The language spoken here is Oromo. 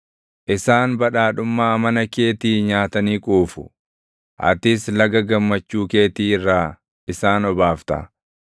Isaan badhaadhummaa mana keetii nyaatanii quufu; atis laga gammachuu keetii irraa isaan obaafta.